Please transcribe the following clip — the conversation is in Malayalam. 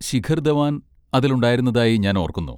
ശിഖർ ധവാൻ അതിൽ ഉണ്ടായിരുന്നതായി ഞാൻ ഓർക്കുന്നു.